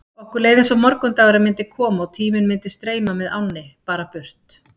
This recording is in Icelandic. Okkur leið eins og morgundagurinn myndi koma og tíminn myndi streyma með ánni, bara burt.